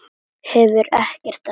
Hefur ekkert að segja.